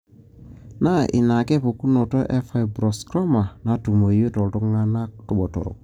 Na ina ake pukunoto e fibrosarcoma natumoyu toltunganaa botorok.